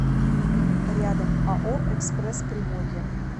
рядом ао экспресс приморья